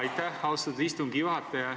Aitäh, austatud istungi juhataja!